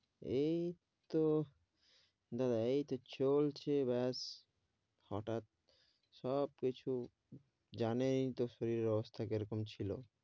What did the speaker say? এই তো দাদা চলছে বস হটাত সব কিছু জানেন এ তো শরীরের অবস্থা কি রকম ছিল,